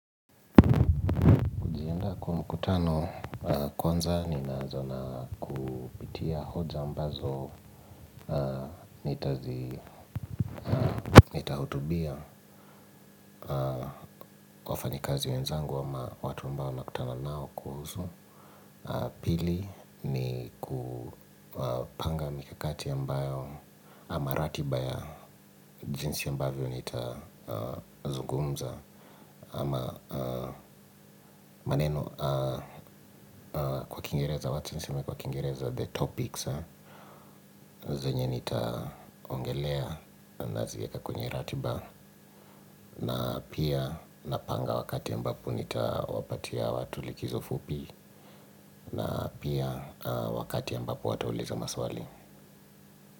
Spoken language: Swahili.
Ninaenda kwa mkutano kwanza ninaanza na kupitia hoja ambazo nitazi, nitahutubia wafanyikazi wenzangu ama watu ambao nakutana nao kuhusu pili ni kupanga mikakati ambayo ama ratiba ya jinsi ambavyo nitazugumza ama maneno kwa kiingereza wacha niseme kwa kiingereza the topics zenye nitaongelea naziweka kwenye ratiba. Na pia napanga wakati ambapo nitawapatia watu likizo fupi. Na pia wakati ambapo watauliza maswali.